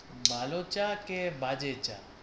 ভালো চা কে বাজে চা।